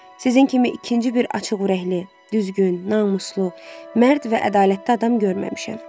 Sizin kimi ikinci bir açıq ürəkli, düzgün, namuslu, mərd və ədalətli adam görməmişəm.